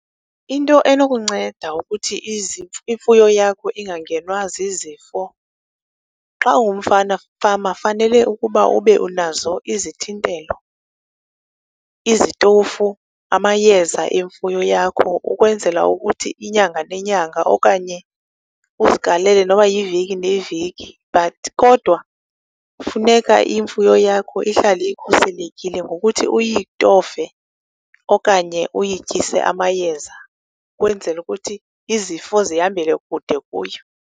Into enokuwunceda ukuthi imfuyo yakho ingangenwa zizifo, xa ungumfana, mfama fanele ukuba unazo izithintelo, izitofu, amayeza emfuyo yakho ukwenzela ukuthi inyanga nenyanga okanye uzigalele noba yiveki neveki. But kodwa funeka imfuyo yakho ihlale ikhuselekile ngokuthi uyitofe okanye uyityise amayeza ukwenzele ukuthi izifo zihambele kude kuyo.